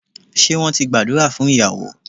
Ṣé wón ti gbàdúrà fún ìyàwó